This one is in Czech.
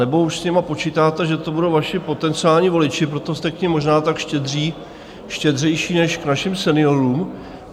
Anebo už s nimi počítáte, že to budou vaši potenciální voliči, proto jste k nim možná tak štědří, štědřejší než k našim seniorům?